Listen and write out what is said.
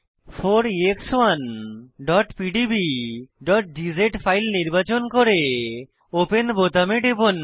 4ex1pdbগজ file নির্বাচন করে open বোতামে টিপুন